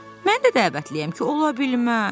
Mən də dəvətliyəm ki, ola bilməz!